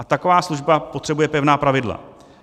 A taková služba potřebuje pevná pravidla.